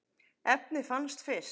efnið fannst fyrst.